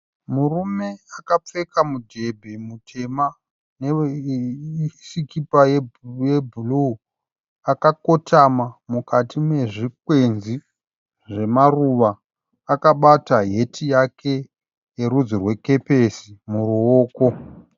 Murume akapfeka mudhebhe mutema nesikipa yebhuruu akakotama mukati mezvikwezvi zvemaruva akabata heti yake yerudzi rwekepesi muruoko.